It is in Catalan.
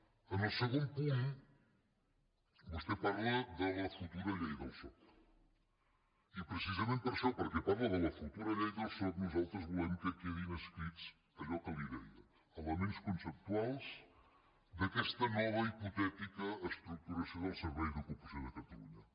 en el segon punt vostè parla de la futura llei del soc i precisament per això perquè parla de la futura llei del soc nosaltres volem que quedin escrits allò que li deia elements conceptuals d’aquesta nova hipotètica estructuració del servei d’ocupació de catalunya